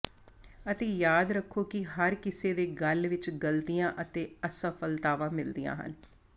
ਅਤੇ ਯਾਦ ਰੱਖੋ ਕਿ ਹਰ ਕਿਸੇ ਦੇ ਗਲ ਵਿੱਚ ਗਲਤੀਆਂ ਅਤੇ ਅਸਫਲਤਾਵਾਂ ਮਿਲਦੀਆਂ ਹਨ